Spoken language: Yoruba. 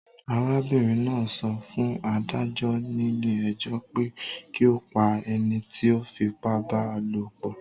Arábìrin náà so fún adájó nílé ejó pe ki o pa enití o fipá ba lòpò